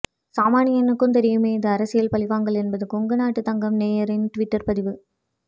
சாமானியனுக்கும் தெரியுமே இது அரசியல் பழிவாங்கல் என்பது கொங்கு நாட்டு தங்கம் நேயரின் ட்விட்டர் பதிவு